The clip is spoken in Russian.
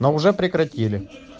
но уже прекратили